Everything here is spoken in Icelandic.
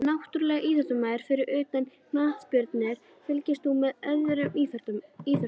Náttúrulegur íþróttamaður Fyrir utan knattspyrnu, fylgist þú með öðrum íþróttum?